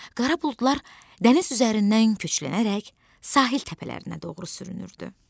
Qara buludlar dəniz üzərindən köçlənərək sahil təpələrinə doğru sürünürdü.